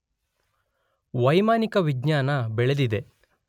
ವೈಮಾನಿಕ ವಿಜ್ಞಾನ ಬೆಳೆದಿದೆ